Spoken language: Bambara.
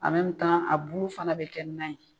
a bulu fana bɛ kɛ nan ye.